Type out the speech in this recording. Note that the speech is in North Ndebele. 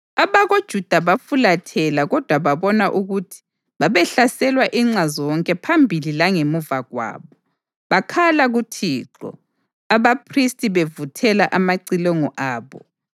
AbakoJuda bafulathela kodwa babona ukuthi babehlaselwa inxa zonke phambili langemva kwabo. Bakhala kuThixo. Abaphristi bevuthela amacilongo abo